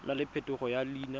nna le phetogo ya leina